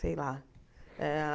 Sei lá. Eh ah